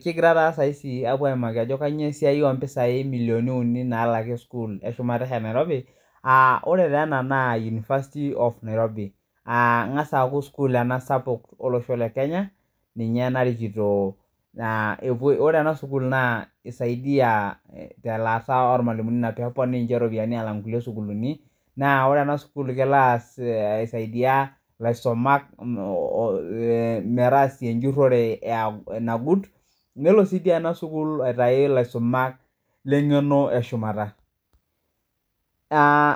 kigiraa taa saaizi aapuo aimaki ajo kanyio esiai oo mpisai millionini uni nalaki sukul eshumata oshi e Nairobi oree tee ena na University of Nairobi keengasaa aaku sukul ena sapuk olosho le Kenya ninye narikito ore ena sukul naa keisaidia telaata olmalimuni inaa peepuni ninche iropiyiani alaang inkulie sukuulini , naa ore ena sukul naa kelo aisaidia ilaisumak metaasa enjurore nagut nelo sii duo ena sukul aitayu ilaisumak lengeno eshumata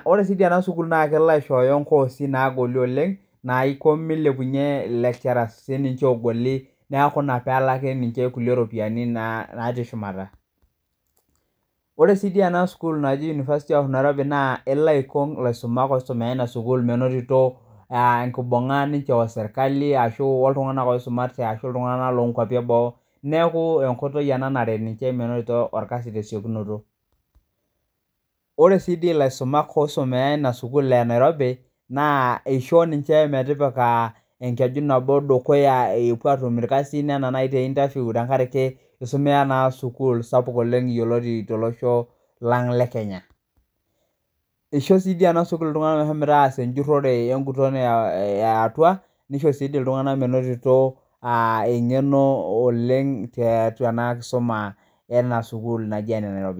ore sii ena sukuul na kelo aishoyo inkoosi naagol oleng naiko meilepunye lecturers sininche ogolie neeku ina peelaki ninche inkulie ropiyiani naati shumata oree sii ena sukuul na elo aikong ilaisumak oisumate tina sukuul menotito enkibunga ninche osirikali aashu oltunganak oisumate aashu iltunganak loo nkuapi eboo neeku enkoitoi ena naret ninche menotito orkasi te siokinoto ore si dii ilasumak oisomea ena sukul ee Nairobi naa eishoo ninche metipika enkeju nabo dukuya epuo aatum ilkasin anaa naji teinterview tenkaraki eisumia naa sukuul sapuuk olleng yioloti tolosho lang le Kenya eishoo si dii ena sukuul iltunganak meshomoita aas enjurore eeatua neisho sii dii iltunganak meinoto engeno oleng tiatua ena kisuma enaa sukuul naji enee Nairobi.